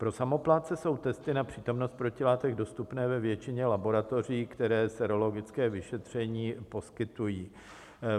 Pro samoplátce jsou testy na přítomnost protilátek dostupné ve většině laboratoří, které sérologické vyšetření poskytují.